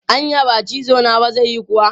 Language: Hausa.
Anya ba cizo na zai yi ba kuwa?